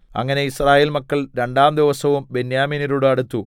അങ്ങനെ യിസ്രായേൽ മക്കൾ രണ്ടാം ദിവസവും ബെന്യാമീന്യരോട് അടുത്തു